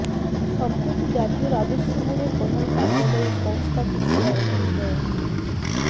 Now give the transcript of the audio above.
সম্প্রতি জাতীয় রাজস্ব বোর্ডের প্রধান কার্যালয়ে সংস্থাটির চেয়ারম্যান মো